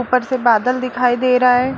ऊपर से बादल दिखाई दे रहा है।